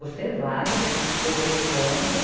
Você vai, a gente se corresponde.